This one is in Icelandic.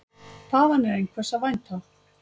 Þaðan er einhvers að vænta.